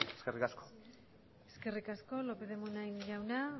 eskerrik asko eskerrik asko lópez de munain jauna